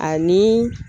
Ani